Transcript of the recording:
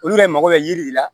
Olu yɛrɛ mago bɛ yiri de la